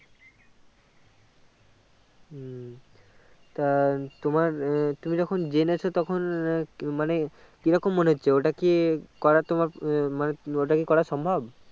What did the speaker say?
উম তা তোমার তুমি যখন জেনেছ তখন মানে কিরকম মনে হচ্ছে ওটা কি করা তোমার মানে ওটাকি করা সম্ভব করা সম্ভব